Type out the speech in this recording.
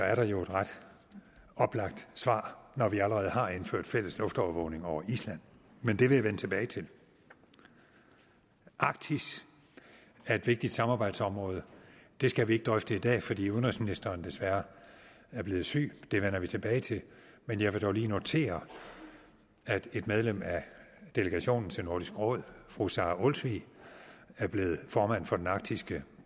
er der jo et ret oplagt svar når vi allerede har indført fælles luftovervågning over island men det vil jeg vende tilbage til arktis er et vigtigt samarbejdsområde det skal vi ikke drøfte i dag fordi udenrigsministeren desværre er blevet syg det vender vi tilbage til men jeg vil dog lige notere at et medlem af delegationen til nordisk råd fru sara olsvig er blevet formand for den arktiske